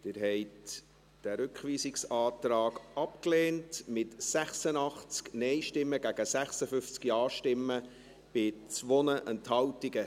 Sie haben diesen Rückweisungsantrag abgelehnt, mit 86 Nein- gegen 56 Ja-Stimmen bei 2 Enthaltungen.